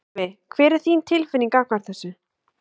Gylfi, hver er þín tilfinning gagnvart þessu?